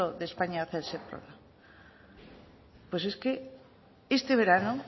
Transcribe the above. de españa hace el sector pues es que este verano